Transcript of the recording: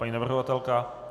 Paní navrhovatelka?